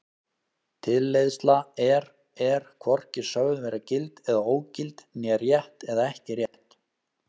Tilleiðsla er er hvorki sögð vera gild eða ógild né rétt eða ekki rétt.